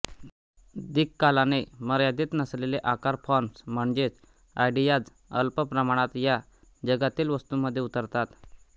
दिक्कालाने मर्यादित नसलेले आकार फॉर्म्स म्हणजेच आयडियाज अल्प प्रमाणात या जगातील वस्तूंमध्ये उतरतात